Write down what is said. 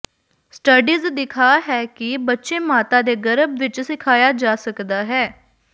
studies ਦਿਖਾ ਹੈ ਕਿ ਬੱਚੇ ਮਾਤਾ ਦੇ ਗਰਭ ਵਿੱਚ ਸਿਖਾਇਆ ਜਾ ਸਕਦਾ ਹੈ